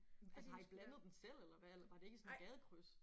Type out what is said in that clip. Altså har I blandet den selv eller hvad eller var det ikke sådan et gadekryds?